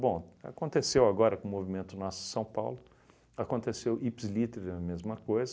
Bom, aconteceu agora com o movimento Nossa São Paulo, aconteceu ipsis litteris a mesma coisa.